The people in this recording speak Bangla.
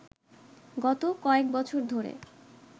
গত কয়েক বছর ধরে